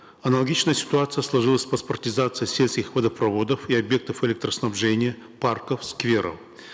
аналогичная ситуация сложилась в паспортизации сельских водопроводов и объектов электроснабжения парков скверов